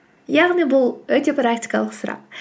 яғни бұл өте практикалық сұрақ